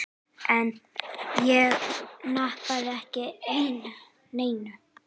Ég nappaði ekki neinu.